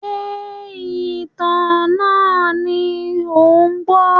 Ṣé ìtàn náà ni ò ń gbọ́?